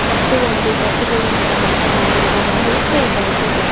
ಮತ್ತು ಒಂದು ಕಟ್ಟಿಗೆಯಿಂದ ಮಾಡಲಾಗಿರುವ ಒಂದು ಟೇಬಲ್ ಇದೆ.